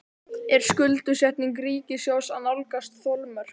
Er skuldsetning ríkissjóðs að nálgast þolmörk?